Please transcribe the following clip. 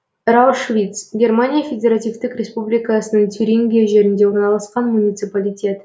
раушвиц германия федеративтік республикасының тюрингия жерінде орналасқан муниципалитет